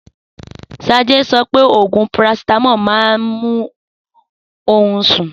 Sade so pé òògùn parasitamọ má n mú ohun sún.